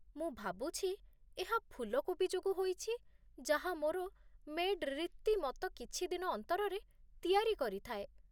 ମୁଁ ଭାବୁଛି ଏହା ଫୁଲକୋବି ଯୋଗୁଁ ହୋଇଛି ଯାହା ମୋର ମେ'ଡ଼୍ ରୀତିମତ କିଛି ଦିନ ଅନ୍ତରରେ ତିଆରି କରିଥାଏ।